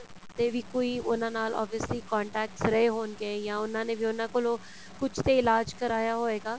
ਦੇ ਵੀ ਕੋਈ ਉਹਨਾ ਨਾਲ obviously contacts ਰਹੇ ਹੋਣਗੇ ਜਾਂ ਉਹਨਾ ਨੇ ਵੀ ਉਹਨਾ ਕੋਲੋਂ ਕੁੱਝ ਤੇ ਇਲਾਜ਼ ਕ਼ਰਵਾਇਆ ਹੋਏਗਾ